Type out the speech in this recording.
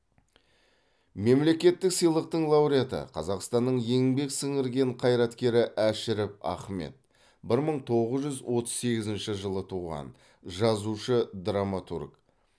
мемлекеттік сыйлықтың лауреаты қазақстанның еңбек сіңірген қайраткері әшіров ахмет бір мың тоғыз жүз отыз сегізінші жылы туған жазушы драматург